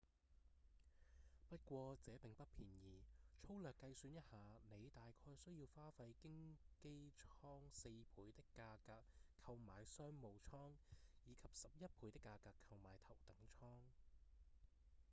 不過這並不便宜：粗略計算一下您大概需要花費經機艙四倍的價格購買商務艙以及十一倍的價格購買頭等艙！